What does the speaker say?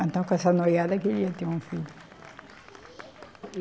Então com essa noiada que ele ia ter um filho.